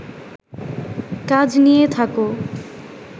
কাজ নিয়ে থাকো